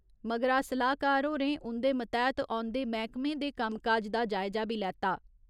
मगरा सलाह्कार होरें उंदे मतैह्त औन्दे मैह्कमें दे कम्म काज दा जायजा बी लैता।